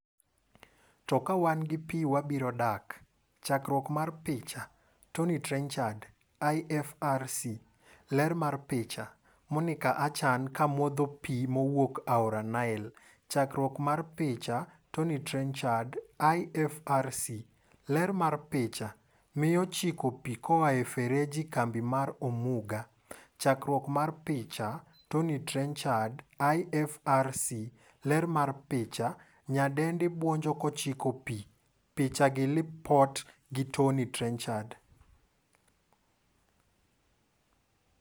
" To kawan gi pii wabiro dak" Chkruok mar picha, Tommy Trenchard / IFRC. Ler mar picha. Monica Achan ko modho pii mowuok aora Nile. Chakruok mar picha, Tommy Trenchard / IFRC. Ler mar picha, Miyo chiko pii koa e ferejie kambi mar Omuga. Chakruok mar picha, Tommy Trenchard / IFRC .Ler mar picha, Nyadendi buonjo ko chiko pii. Picha gi Lipot gi Tommy Trenchard.